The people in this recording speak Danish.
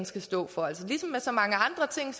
skal stå for ligesom med så mange andre ting